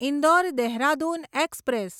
Indore Dehradun express